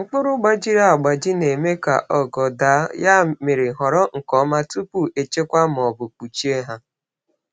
Mkpụrụ gbajiri agbaji na-eme ka ogo daa, ya mere họrọ nke ọma tupu echekwa ma ọ bụ kpuchie ha.